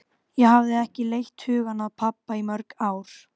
Ég hafði ekki leitt hugann að pabba í mörg ár.